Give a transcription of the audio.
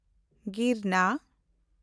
ᱜᱤᱨᱱᱟ